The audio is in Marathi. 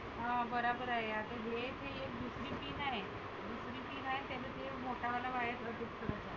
हं बराबर आहे आता हे जे दुसरी pin आहे, दुसरी pin आहे त्याला ते मोठा वाला wire